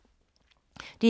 DR K